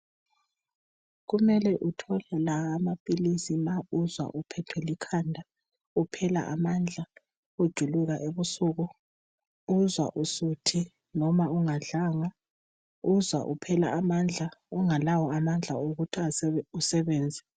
Kumele uthole la amaphilisi ma uzwa uphethwe likhanda, uphela amandla, ujuluka ebusuku, uzwa usuthi noma ungadlanga, uzwa uphela amandla, ungalawo amandla okuthi a usebenze.